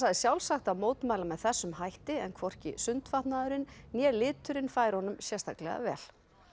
sjálfsagt að mótmæla með þessum hætti en hvorki né liturinn færu honum sérstaklega vel